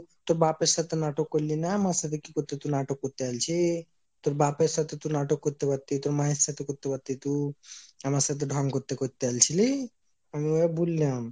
তোর বাপের সাথে নাটক করলিনা। আমার সাথে কি করতে তু নাটক করতে আলছি তোর বাপের সাথে তুই নাটক করতে পারতিস, তোর মায়ের সাথে করতে পারতিস তু , আমার সাথে ঢ্যাং করতে করতে অলছিলি? আমি ওই বুললাম